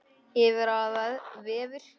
Yfir aðrir vefir.